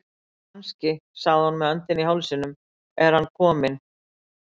Kannske sagði hún með öndina í hálsinum, er hann loksins kominn